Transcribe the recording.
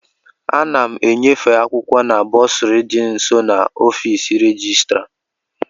Ana m enyefe akwụkwọ m na bọsụrị dị nso n'ọfịs rejistra.